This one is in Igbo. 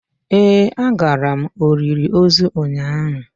Ee agara m olili ozu ụnyahụ.